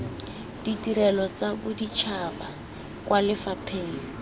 ditirelo tsa boditšhaba kwa lefapheng